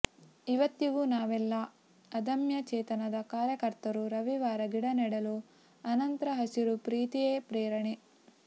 ಇವತ್ತಿಗೂ ನಾವೆಲ್ಲ ಅದಮ್ಯ ಚೇತನದ ಕಾರ್ಯಕರ್ತರು ರವಿವಾರ ಗಿಡ ನೆಡಲು ಅನಂತ್ರ ಹಸಿರು ಪ್ರೀತಿಯೇ ಪ್ರೇರಣೆ